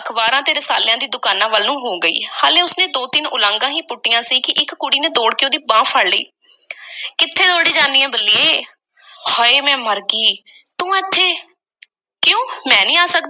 ਅਖ਼ਬਾਰਾਂ, ਰਿਸਾਲਿਆਂ ਦੀ ਦੁਕਾਨਾਂ ਵੱਲ ਨੂੰ ਹੋ ਗਈ। ਹਾਲੀ ਉਸ ਨੇ ਦੋ-ਤਿੰਨ ਉਲਾਂਘਾਂ ਈ ਪੁੱਟੀਆਂ ਸੀ ਕਿ ਇੱਕ ਕੁੜੀ ਨੇ ਦੌੜ ਕੇ ਉਸ ਦੀ ਬਾਂਹ ਫੜ ਲਈ ਕਿੱਥੇ ਦੌੜੀ ਜਾਨੀ ਏਂ, ਬੱਲੀਏ? ਹਾਏ, ਮੈਂ ਮਰ ਗਈ! ਤੂੰ ਇੱਥੇ? ਕਿਉਂ? ਮੈਂ ਨਹੀਂ ਆ ਸਕਦੀ,